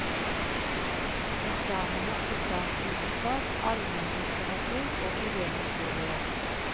Eksamener i statsvitenskap, allemenlitteratur og idéhistorie.